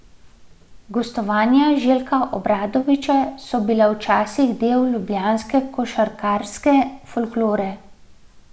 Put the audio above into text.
Gostovanja Željka Obradovića so bila včasih del ljubljanske košarkarske folklore.